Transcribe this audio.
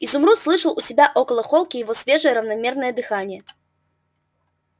изумруд слышал у себя около холки его свежее равномерное дыхание